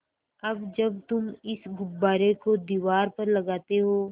अब जब तुम इस गुब्बारे को दीवार पर लगाते हो